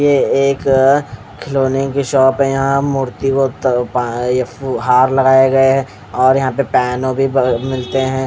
ये एक खिलोने की शॉप है यहाँ हार लगाया गया है और यहाँ पे भी मिलते है--